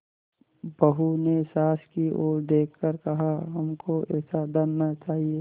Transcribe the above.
बहू ने सास की ओर देख कर कहाहमको ऐसा धन न चाहिए